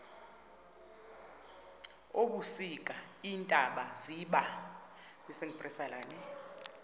ebusika iintaba ziba